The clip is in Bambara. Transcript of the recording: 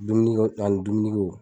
Dumuniko ani dumuniko.